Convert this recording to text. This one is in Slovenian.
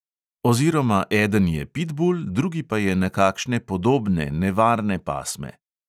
Oziroma eden je pitbul, drugi pa je nekakšne podobne, nevarne pasme.